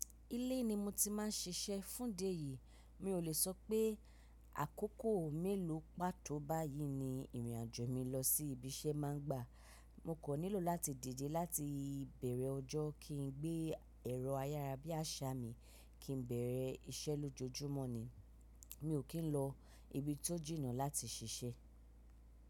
Ilé ni mo ti máa ń ṣiṣẹ́ fún dé yìí, mi ò lè sọ pé àkókò mélòó pátó báyìí ni ìrìn àjò mi lọ sí ibi iṣẹ́ má ń gba. Mo kò nílò láti dide láti ìbẹ̀rẹ̀ ọjọ́ kí n gbé ẹ̀rọ ayárabíàṣá mi kí n bẹ̀rẹ̀ iṣẹ́ lójoojúmọ́ ni. Mi ò kí ń lọ ibi tó jìnnà láti ṣiṣẹ́.